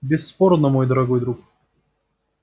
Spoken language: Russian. бесспорно мой дорогой друг